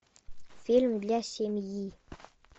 фильм для семьи